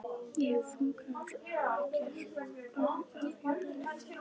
Ég hef þungar áhyggjur af jörðinni.